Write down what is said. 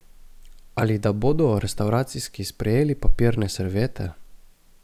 Ali da bodo restavracijski sprejeli papirne serviete?